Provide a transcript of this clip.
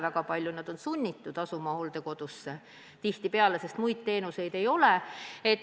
Enamik on sunnitud minema hooldekodusse, sest tihtipeale muid teenuseid ei ole.